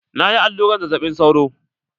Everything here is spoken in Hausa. Na yi allurar zazzaɓin sauro.